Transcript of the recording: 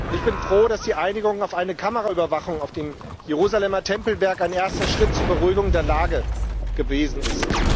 Ich bin froh, dass die Einigung auf eine Kameraüberwachung auf dem Jerusalemer Tempelberg ein erster Schritt zur Beruhigung der Lage gewesen ist.